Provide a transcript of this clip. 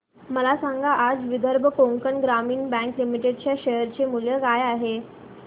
मला सांगा आज विदर्भ कोकण ग्रामीण बँक लिमिटेड च्या शेअर चे मूल्य काय आहे